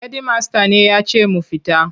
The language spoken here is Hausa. Hedimasta ne ya ce mu fita.